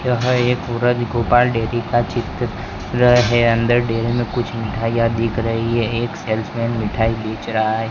यह एक पूरा गोपाल डेयरी का चित्र रह अंदर डेयरी में कुछ मिठाइयां दिख रही है एक सेल्स मैन मिठाई बेच रहा है।